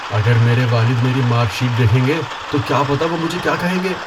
اگر میرے والد میری مارک شیٹ دیکھیں گے تو کیا پتہ وہ مجھے کیا کہیں گے۔